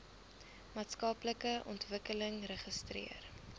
maatskaplike ontwikkeling registreer